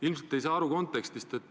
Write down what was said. Ilmselt ei saa te kontekstist aru.